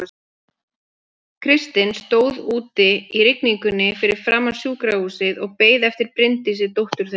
Kristinn stóð úti í rigningunni fyrir framan sjúkrahúsið og beið eftir Bryndísi dóttur þeirra.